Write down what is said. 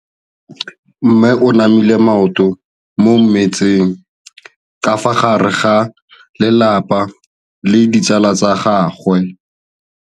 Mme o namile maoto mo mmetseng ka fa gare ga lelapa le ditsala tsa gagwe.